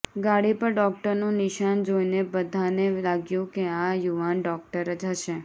ગાડી પર ડોકટરનું નિશાન જોઇને બઘાને લાગ્યું કે આ યુવાન ડોકટર જ હશે